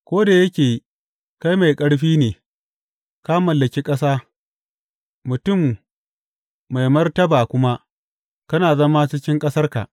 Ko da yake kai mai ƙarfi ne, ka mallaki ƙasa, mutum mai martaba kuma, kana zama cikin ƙasarka.